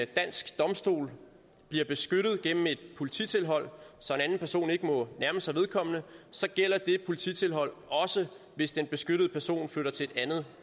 dansk domstol bliver beskyttet gennem et polititilhold så en anden person ikke må nærme sig vedkommende gælder det polititilhold også hvis den beskyttede person flytter til et andet